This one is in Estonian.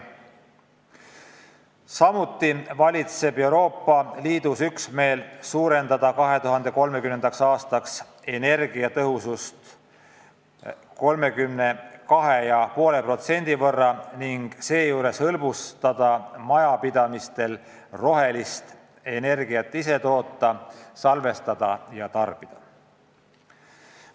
Samuti valitseb Euroopa Liidus üksmeel suurendada 2030. aastaks energiatõhusust 32,5% võrra ning seejuures hõlbustada majapidamistel rohelist energiat ise toota, salvestada ja tarbida.